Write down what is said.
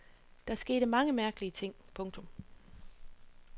Der skete mange mærkelige ting. punktum